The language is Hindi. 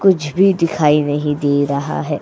कुछ भी दिखाई नहीं दे रहा है --